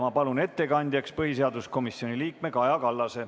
Ma palun ettekandjaks põhiseaduskomisjoni liikme Kaja Kallase.